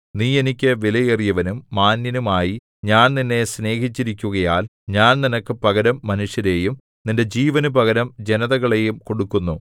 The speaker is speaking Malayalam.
നീ എനിക്ക് വിലയേറിയവനും മാന്യനും ആയി ഞാൻ നിന്നെ സ്നേഹിച്ചിരിക്കുകയാൽ ഞാൻ നിനക്ക് പകരം മനുഷ്യരെയും നിന്റെ ജീവന് പകരം ജനതകളെയും കൊടുക്കുന്നു